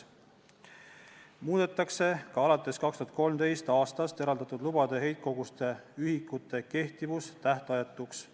Samuti muudetakse alates 2013. aastast eraldatud lubatud heitkoguste ühikute kehtivus tähtajatuks.